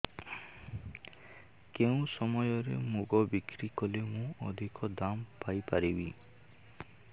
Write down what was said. କେଉଁ ସମୟରେ ମୁଗ ବିକ୍ରି କଲେ ମୁଁ ଅଧିକ ଦାମ୍ ପାଇ ପାରିବି